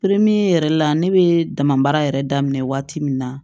yɛrɛ la ne bɛ damabaara yɛrɛ daminɛ waati min na